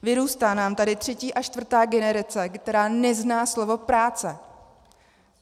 Vyrůstá nám tady třetí a čtvrtá generace, která nezná slovo práce.